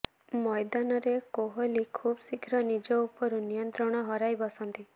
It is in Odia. ମୈଦାନରେ କୋହଲି ଖୁବ୍ ଶୀଘ୍ର ନିଜ ଉପରୁ ନିୟନ୍ତ୍ରଣ ହରାଇ ବସନ୍ତି